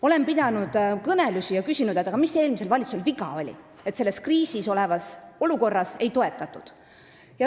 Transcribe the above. Olen pidanud kõnelusi ja küsinud, et mis eelmisel valitsusel viga oli, et kriisiolukorras põllumajandust ei toetatud.